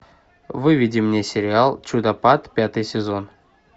выведи мне сериал чудопад пятый сезон